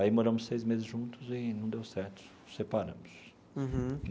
Aí moramos seis meses juntos e não deu certo, separamos. Uhum.